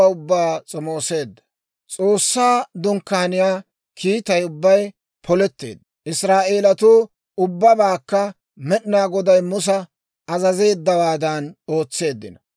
S'oossaa Dunkkaaniyaa kiittay ubbay poletteedda. Israa'eelatuu ubbabaakka Med'inaa Goday Musa azazeeddawaadan ootseeddino.